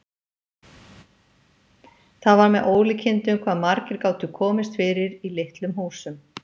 Það var með ólíkindum hvað margir gátu komist fyrir í litlum húsum.